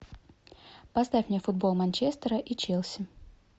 поставь мне футбол манчестера и челси